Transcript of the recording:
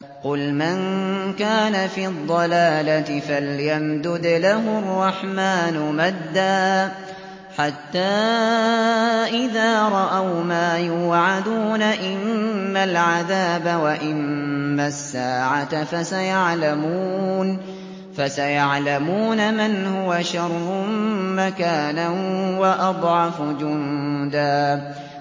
قُلْ مَن كَانَ فِي الضَّلَالَةِ فَلْيَمْدُدْ لَهُ الرَّحْمَٰنُ مَدًّا ۚ حَتَّىٰ إِذَا رَأَوْا مَا يُوعَدُونَ إِمَّا الْعَذَابَ وَإِمَّا السَّاعَةَ فَسَيَعْلَمُونَ مَنْ هُوَ شَرٌّ مَّكَانًا وَأَضْعَفُ جُندًا